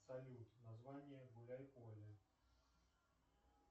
салют название гуляй поле